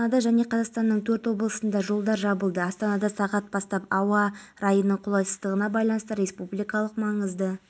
сол себепті келесі жылы біз стадионда өткізбекшіміз сондықтан сол мақсатпен ұйымдастырудамыз дәстүрлі түрде өткіземіз деді